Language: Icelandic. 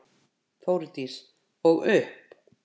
Þórdís: Og upp?